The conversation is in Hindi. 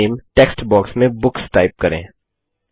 टेबल नेम टेक्स्ट बॉक्स में बुक्स टाइप करें